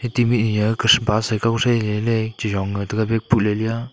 tabi aga a bus kaw thei ley ley che jong ga taga bag pule le a.